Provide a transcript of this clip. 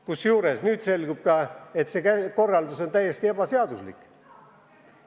Kusjuures on selgunud, et see korraldus on täiesti ebaseaduslik.